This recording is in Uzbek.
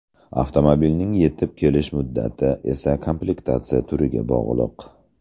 Avtomobilning yetib kelish muddati esa komplektatsiya turiga bog‘liq.